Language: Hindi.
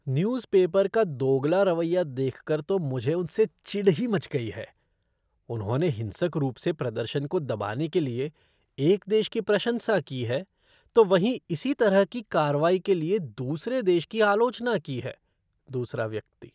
न्यूज़पेपर का दोगला रवैया देखकर तो मुझे उनसे चिढ़ ही मच गई है, उन्होंने हिंसक रूप से प्रदर्शन को दबाने के लिए एक देश की प्रशंसा की है, तो वहीं इसी तरह की कार्रवाई के लिए दूसरे देश की आलोचना की है। दूसरा व्यक्ति